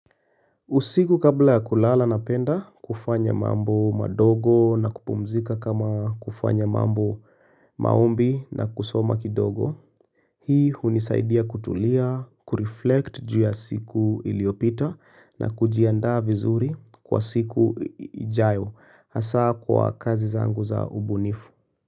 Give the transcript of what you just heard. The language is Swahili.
Usiku kabla ya kulala na penda, kufanya mambo madogo na kupumzika kama kufanya mambo maombi na kusoma kidogo. Hii hunisaidia kutulia, kureflect juuya siku iliyopita na kujianda vizuri kwa siku ijayo, hasa kwa kazi zangu za ubunifu.